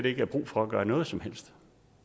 ikke er brug for at gøre noget som helst